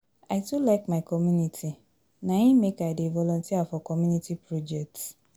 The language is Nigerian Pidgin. I too like my community na im make I dey volunteer for community projects.